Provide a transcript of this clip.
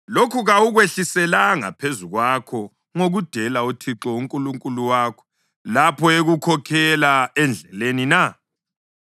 Lokhu kawukwehliselanga phezu kwakho ngokudela uThixo uNkulunkulu wakho lapho ekukhokhela endleleni na?